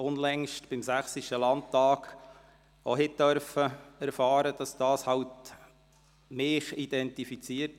Unlängst durften wir auch beim Sächsischen Landtag erfahren, dass mich dies identifiziert.